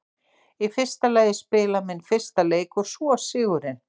Í fyrsta lagi að spila minn fyrsta leik og svo sigurinn.